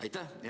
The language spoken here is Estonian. Aitäh!